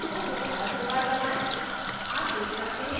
arrow की को दोबारा दो बार दबाएं